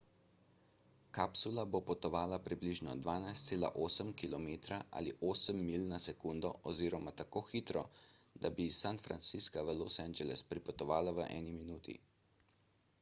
kapsula bo potovala približno 12,8 km ali 8 milj na sekundo oziroma tako hitro da bi iz san francisca v los angeles pripotovala v eni minuti